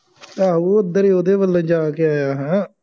ਆਹੋ ਉੱਧਰ ਹੀ ਉਹਦੇ ਵੱਲੋਂ ਜਾ ਕੇ ਆਇਆ ਹੋਇਆ ਹਾਂ